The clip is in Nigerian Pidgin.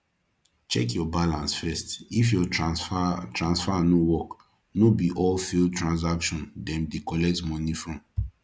check your balance first if your transfer transfer no work no be all failed transaction dem de collect moni from